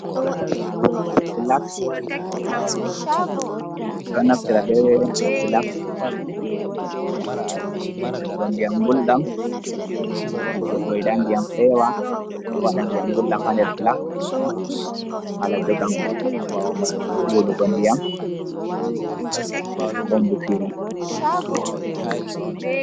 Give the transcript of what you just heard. Filax ɗo naftira be filaxsegugo ndiyam gulɗam to goɗɗo yiɗa diyam fewa waɗa diyam gulɗam hander filaks hala jogam wulugo ndiyam ko mbusiri.